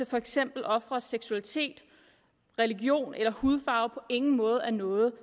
for eksempel offerets seksualitet religion eller hudfarve på ingen måde er noget